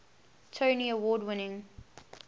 tony award winning